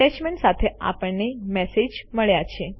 attachment સાથે આપણને message મળ્યો છે